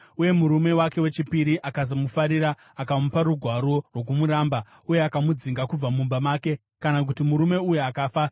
uye murume wake wechipiri akasamufarira, akamupa rugwaro rwokumuramba, uye akamudzinga kubva mumba make, kana kuti murume uyu akafa,